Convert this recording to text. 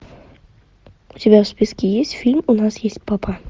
у тебя в списке есть фильм у нас есть папа